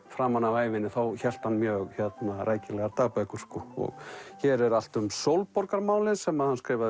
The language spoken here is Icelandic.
framan af ævinni hélt hann mjög rækilegar dagbækur hér er allt um Sólborgarmálin sem hann skrifaði